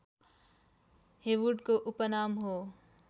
हेवूडको उपनाम हो